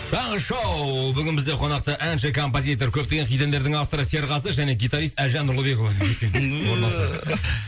таңғы шоу бүгін бізде қонақта әнші композитор көптеген хит әндердің авторы серғазы және гитарист әлжан нұрлыбекұлы